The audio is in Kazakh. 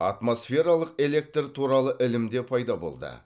атмосфералық электр туралы ілім де пайда болды